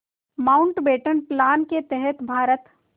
Mountbatten plan के तहत भारत